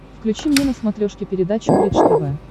включи мне на смотрешке передачу бридж тв